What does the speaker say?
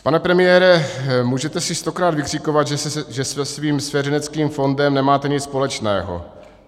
Pane premiére, můžete si stokrát vykřikovat, že se svým svěřenským fondem nemáte nic společného.